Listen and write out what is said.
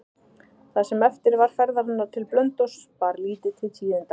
Það sem eftir var ferðarinnar til Blönduóss bar lítið til tíðinda.